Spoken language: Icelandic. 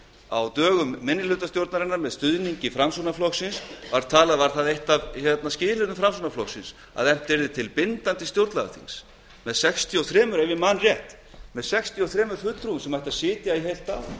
á dögum minnihlutastjórnarinnar með stuðningi framsóknarflokksins var það eitt af skilyrðum framsóknarflokksins að efnt yrði til bindandi stjórnlagaþings með sextíu og þrjú ef ég man rétt fulltrúum sem ættu að sitja í heilt ár